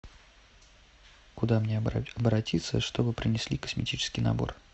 куда мне обратиться чтобы принесли косметический набор